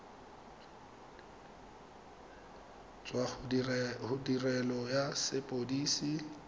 tswa go tirelo ya sepodisi